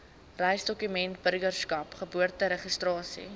reisdokumente burgerskap geboorteregistrasie